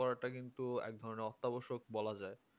করাটা কিন্তু একধরণের অত্যাবশ্যক বলা যায়